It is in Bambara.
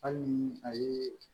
Hali ni a ye